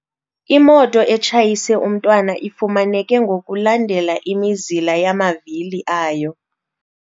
Imoto etshayise umntwana ifumaneke ngokulandela imizila yamavili ayo.